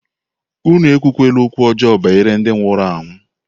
Unu ekwula okwu ọjọọ banyere ndị nwụrụ anwụ!